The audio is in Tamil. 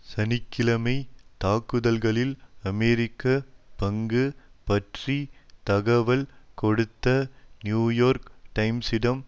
சனி கிழமை தாக்குதல்களில் அமெரிக்க பங்கு பற்றி தகவல் கொடுத்த நியூயோர்க் டைம்ஸிடம்